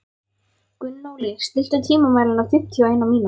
Gunnóli, stilltu tímamælinn á fimmtíu og eina mínútur.